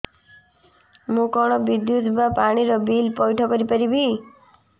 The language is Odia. ମୁ କଣ ବିଦ୍ୟୁତ ବା ପାଣି ର ବିଲ ପଇଠ କରି ପାରିବି